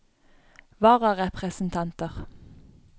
vararepresentanter